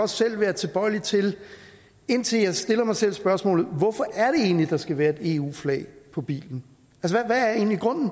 selv være tilbøjelig til indtil jeg stiller mig selv spørgsmålet hvorfor er det egentlig der skal være et eu flag på bilen hvad er egentlig grunden